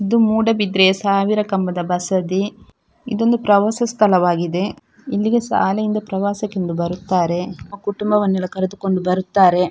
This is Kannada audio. ಇದು ಮೂಡಬಿದ್ರೆಯ ಸಾವಿರ ಕಂಬದ ಬಸದಿ ಇದು ಒಂದು ಪ್ರವಾಸ ಸ್ಥಳವಾಗಿದೆ ಇಲ್ಲಿಗೆ ಶಾಲೆಯಿಂದ ಪ್ರವಾಸಕ್ಕೆಂದು ಬರುತ್ತಾರೆ ತಮ್ಮ ಕುಟುಂಬವನ್ನು ಎಲ್ಲ ಕರೆದುಕೊಂಡು ಬರುತ್ತಾರೆ .